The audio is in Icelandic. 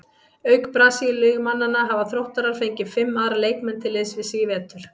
Auk Brasilíumannanna hafa Þróttarar fengið fimm aðra leikmenn til liðs við sig í vetur.